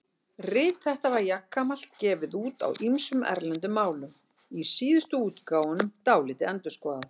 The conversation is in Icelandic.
Rit þetta var jafnframt gefið út á ýmsum erlendum málum, í síðustu útgáfunum dálítið endurskoðað.